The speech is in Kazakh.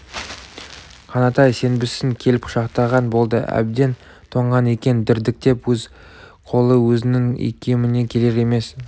қанатай сенбісің келіп құшақтаған болды әбден тоңған екен дірдектеп өз қолы өзінің икеміне келер емес